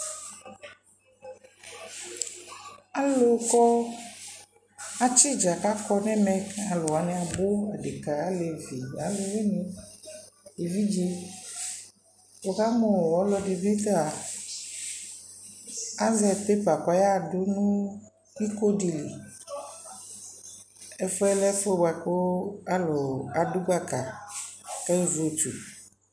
alo kɔ atsi idza ko akɔ no ɛmɛ ko alu wani abo adeka, alevi, aluwini, evidze woka mu ɔluedi bi ta azɛ pepa ko ɔya do no iko di li ɛfʋɛ lɛ ɛfu boa ko alu ado gbaka ko aye vote